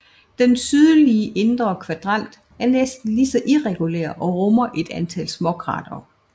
Den sydøstlige indre kvadrant er næsten lige så irregulær og rummer et antal småkratere